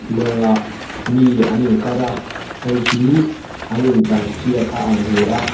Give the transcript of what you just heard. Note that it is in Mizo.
lawngah mi an inkar a hei hi an intlansiak a ang hle a.